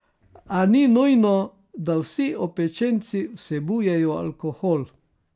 A ni nujno, da vsi opečenci vsebujejo alkohol.